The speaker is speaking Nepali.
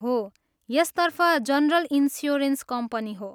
हो, यसतर्फ जनरल इन्स्योरेन्स कम्पनी हो।